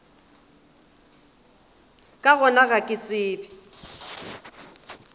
ka gona ga ke tsebe